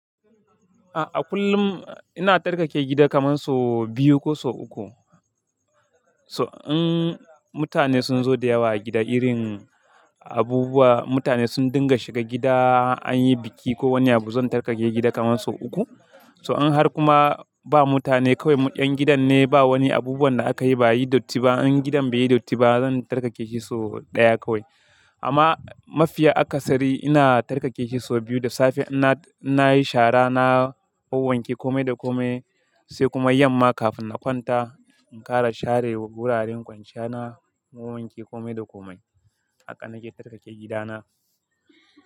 A kullum ina tarkake gida kaman so biyu, ko so uku. Toh, in mutane sun zo da yawa a gida irin abubuwa, mutane sun dinga shiga gida an yi biki ko wani abu, zan tarkake gida kaman so uku. Toh, in har kuma ba mutane kawai 'yan gidan ne ba wani abubuwan da aka yi ba yi datti ba, in gidan bai yi datti ba zan tarkake shi so ɗaya kawai. Amma mafiya akasari ina tarkake shi so biyu. Toh, in mutane sun zo da yawa a gida irin abubuwa, mutane sun dinga shiga gida an yi biki ko wani abu, zan tarkake gida kaman so uku. Sai kuma yamma kafin na kwanta in ƙara share wa wuraren kwanciya na, na wowanke kome da kome. Haka nake tarkake gida na.